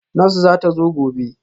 Nurse zata zo gobe